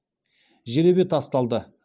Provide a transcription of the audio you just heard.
жеребе тасталды